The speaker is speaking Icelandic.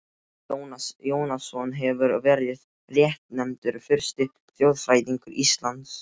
Jónas Jónasson hefur verið réttnefndur fyrsti þjóðfræðingur Íslands.